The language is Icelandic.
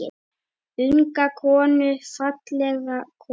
Unga konu, fallega konu.